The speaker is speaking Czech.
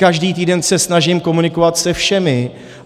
Každý týden se snažím komunikovat se všemi.